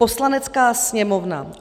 "Poslanecká sněmovna